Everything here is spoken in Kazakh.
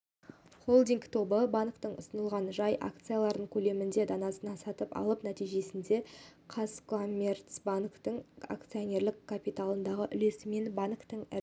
холдинг тобы банктің ұсынылған жай акцияларының көлемінен данасын сатып алып нәтижесінде қазкоммерцбанктің акционерлік капиталындағы үлесімен банктің